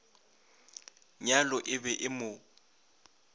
nyalo e be e mo